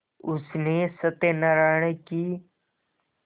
उसने सत्यनाराण की